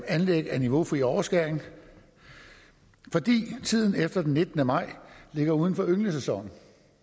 anlæg af niveaufri overskæring fordi tiden efter den nittende maj ligger uden for ynglesæsonen